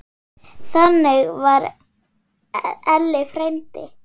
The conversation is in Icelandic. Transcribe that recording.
Þannig var Elli frændi.